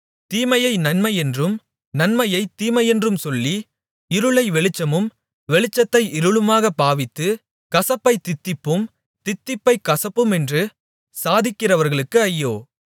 தீமையை நன்மையென்றும் நன்மையைத் தீமையென்றும் சொல்லி இருளை வெளிச்சமும் வெளிச்சத்தை இருளுமாகப் பாவித்து கசப்பைத் தித்திப்பும் தித்திப்பைக் கசப்புமென்று சாதிக்கிறவர்களுக்கு ஐயோ